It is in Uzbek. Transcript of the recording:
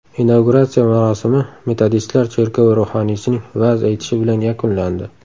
Inauguratsiya marosimi metodistlar cherkovi ruhoniysining va’z aytishi bilan yakunlandi.